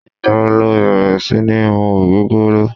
Igba wo lẹ bẹrẹ si ni mu ogogoro?